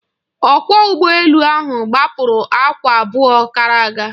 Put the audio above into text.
Ọkwọ ụgbọ elu ahụ gbapụrụ awa abụọ gara aga.